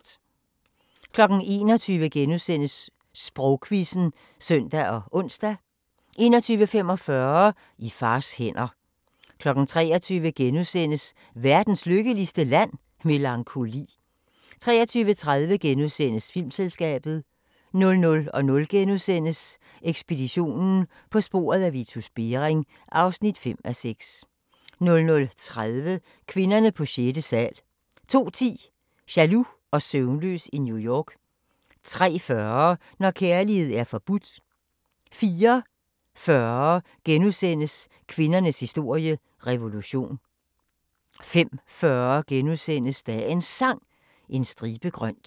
21:00: Sprogquizzen *(søn og ons) 21:45: I fars hænder 23:00: Verdens lykkeligste Land? – Melankoli * 23:30: Filmselskabet * 00:00: Ekspeditionen – På sporet af Vitus Bering (5:6)* 00:30: Kvinderne på sjette sal 02:10: Jaloux og søvnløs i New York 03:40: Når kærlighed er forbudt 04:40: Kvindernes historie – revolution * 05:40: Dagens Sang: En stribe grønt *